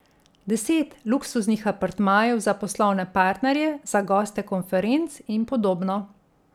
Deset luksuznih apartmajev za poslovne partnerje, za goste konferenc in podobno.